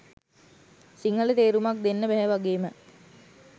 සිංහල තේරුමක් දෙන්න බැහැ වගේම